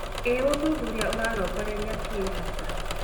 Ĩ ũthuthuria ũrarongoreria kĩ hasa?